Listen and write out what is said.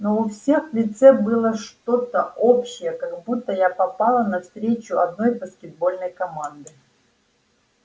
но у всех в лице было что-то общее как будто я попала на встречу одной баскетбольной команды